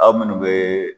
Aw munnu be